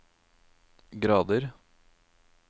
grader